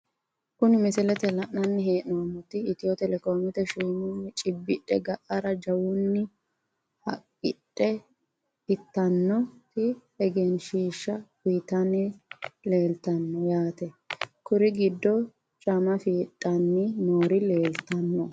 Kuni misilete la`nani he`nomoti etyo telecome shiimuni cibidhe ga`ara jawuni haaqidhe itanoti egenshiisha uyitani leeltano yaate kuri gidono caama fidhani noori leeltano.